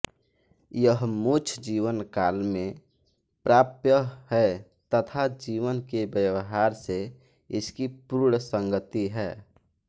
यह मोक्ष जीवनकाल में प्राप्य है तथा जीवन के व्यवहार से इसकी पूर्ण संगति है